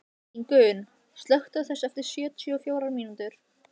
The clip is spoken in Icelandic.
Ingunn, slökktu á þessu eftir sjötíu og fjórar mínútur.